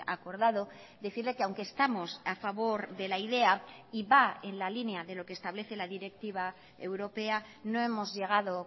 acordado decirle que aunque estamos a favor de la idea y va en la línea de lo que establece la directiva europea no hemos llegado